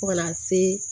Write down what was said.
Fo ka na se